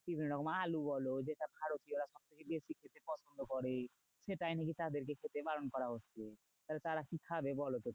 বিভিন্ন রকম আলু বলো যেটা ভারতীয়রা সবচেয়ে বেশি খেতে পছন্দ করে সেটাই নাকি তাদের কে খেতে বারণ করা হচ্ছে। তাহলে তারা কি খাবে বলতো?